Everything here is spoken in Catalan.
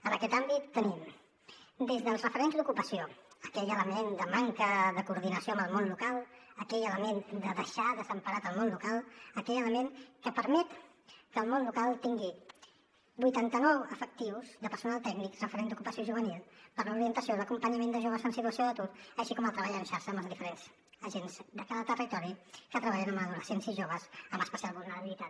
en aquest àmbit tenim des dels referents d’ocupació aquell element de manca de coordinació amb el món local aquell element de deixar desemparat el món local aquell element que permet que el món local tingui vuitanta nou efectius de personal tècnic referent d’ocupació juvenil per a l’orientació i l’acompanyament de joves en situació d’atur així com el treball en xarxa amb els diferents agents de cada territori que treballen amb adolescents i joves amb especial vulnerabilitat